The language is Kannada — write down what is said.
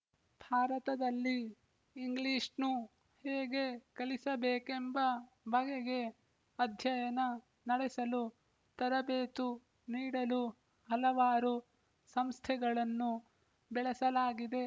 ಭಾರತದಲ್ಲಿ ಇಂಗ್ಲಿಶ್‌ನ್ನು ಹೇಗೆ ಕಲಿಸಬೇಕೆಂಬ ಬಗೆಗೆ ಅಧ್ಯಯನ ನಡೆಸಲು ತರಬೇತು ನೀಡಲು ಹಲವಾರು ಸಂಸ್ಥೆಗಳನ್ನು ಬೆಳೆಸಲಾಗಿದೆ